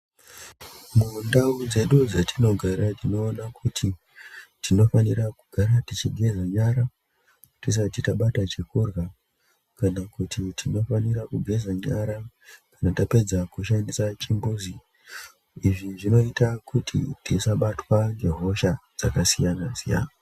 Mundau dzedu dzatinogara tinoona kuti tinofanira kugara tichi kugeza nyara tisati tabata chekurya kana kuti tinofanira kugeza nyara kana tapedza kushandisa chimbuzi izvi zvinoita kuti tisabatwa ngehosha dzakasiyana siyana.